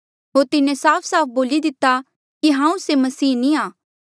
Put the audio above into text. होर तिन्हें साफ साफ बोली दिता कि हांऊँ से मसीह नी आ